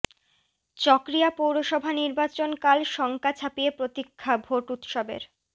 চকরিয়া পৌরসভা নির্বাচন কাল শঙ্কা ছাপিয়ে প্রতীক্ষা ভোট উৎসবের